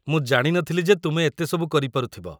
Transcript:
ମୁଁ ଜାଣି ନଥିଲି ଯେ ତୁମେ ଏତେ ସବୁ କରିପାରୁଥିବ ।